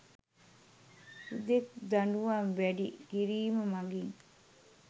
හුදෙක් දඬුවම් වැඩි කිරිම මඟින්